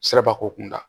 Siraba ko kunda